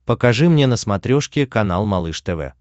покажи мне на смотрешке канал малыш тв